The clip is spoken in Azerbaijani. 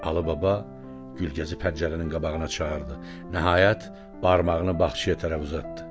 Alı Baba Gülgezi pəncərənin qabağına çağırdı, nəhayət barmağını bağçaya tərəf uzatdı.